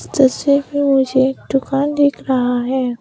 तस्वीर पे मुझे एक दुकान दिख रहा है।